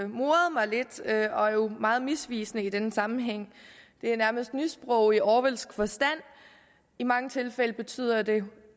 moret mig lidt og er jo meget misvisende i denne sammenhæng det er nærmest nysprog i orwellsk forstand i mange tilfælde betyder det